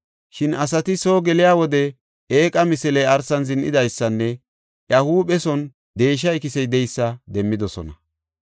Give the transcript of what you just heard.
Shin asati soo geliya wode eeqa misiley arsan zin7idaysanne iya huupheson deesha ikisey de7eysa demmidosona.